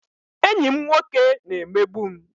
Enyi m nwoke na-emegbu m